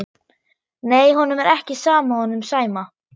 Nei, honum er ekki sama honum Sæma.